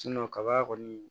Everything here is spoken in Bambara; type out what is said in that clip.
kaba kɔni